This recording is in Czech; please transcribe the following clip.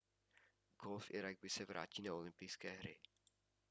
golf i ragby se vrátí na olympijské hry